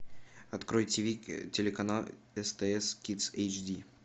открой тв телеканал стс кидс эйч ди